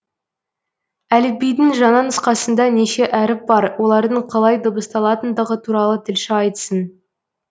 әліпбидің жаңа нұсқасында неше әріп бар олардың қалай дыбысталатындығы туралы тілші айтсын